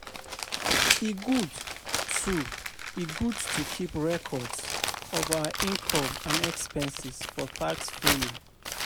E good to E good to keep records of our income and expenses for tax filing.